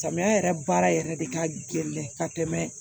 Samiya yɛrɛ baara yɛrɛ de ka gɛlɛn ka tɛmɛ